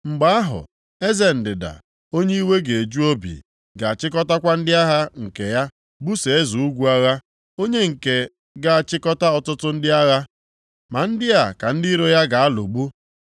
“Mgbe ahụ, eze ndịda, onye iwe ga-eju obi, ga-achịkọtakwa ndị agha nke ya buso eze ugwu agha, onye nke ga-achịkọta ọtụtụ ndị agha, ma ndị a ka ndị iro ya ga-alụgbu.